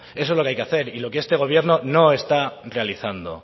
eso es lo que hay que hacer y lo que este gobierno no está realizando